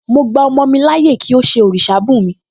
Mo gba ọmọ mi láàyè kí ó ṣe òrìṣà bùnmi